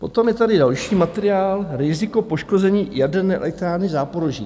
Potom je tady další materiál - Riziko poškození jaderné elektrárny Záporoží.